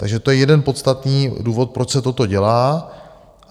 Takže to je jeden podstatný důvod, proč se toto dělá.